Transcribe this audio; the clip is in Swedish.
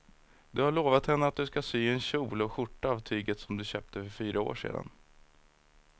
Du har lovat henne att du ska sy en kjol och skjorta av tyget du köpte för fyra år sedan.